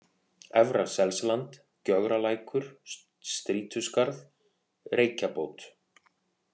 Efra-Selsland, Gjögralækur, Strýtuskarð, Reykjabót